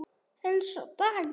En sá dagur!